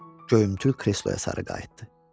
Göyümtül kresloya sarı qayıtdı.